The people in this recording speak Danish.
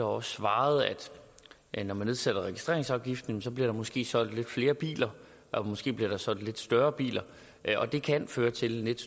også svaret at når man nedsætter registreringsafgiften bliver der måske solgt lidt flere biler og måske bliver der solgt lidt større biler og det kan føre til en lidt